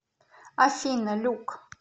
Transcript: афина люк